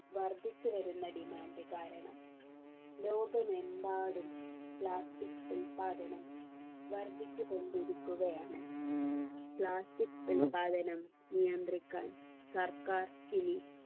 വർദ്ധിച്ചുവരുന്ന demand കാരണം ലോകമെമ്പാടും plastic ഉൽപാദനം വർദ്ധിച്ചു കൊണ്ടിരിക്കുകയാണ് plastic ഉൽപാദനം നിയന്ത്രിക്കാൻ സർക്കാർ ഇനി